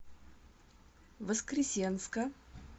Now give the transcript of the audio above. воскресенска